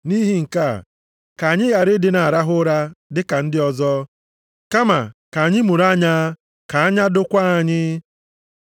Nʼihi nke a, ka anyị ghara ịdị na-arahụ ụra dị ka ndị ọzọ, kama ka anyị mụrụ anya ka anya dokwaa anyị.